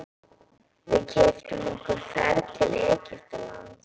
Við keyptum okkur ferð til Egyptalands.